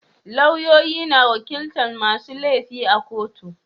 Lauyoyi na wakilta masu laifi a kotu